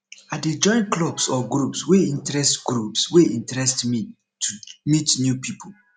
i dey join clubs or groups wey interest groups wey interest me to meet new people